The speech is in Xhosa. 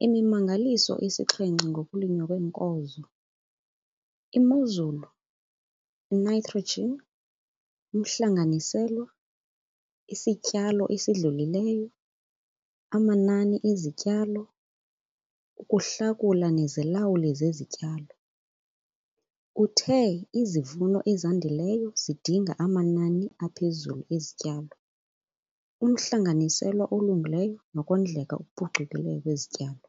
'Imimangaliso esixhenxe ngokulinywa kweenkozo' - imozulu, initrogen, umhlanganiselwa, isityalo esidlulileyo, amanani ezityalo, ukuhlakula nezilawuli zezityalo. Uthe izivuno ezandileyo zidinga amanani aphezulu ezityalo, umhlanganiselwa olungileyo nokondleka okuphucukileyo kwezityalo.